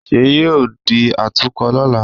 Ṣèyí yóò di atukọ̀ lọ́la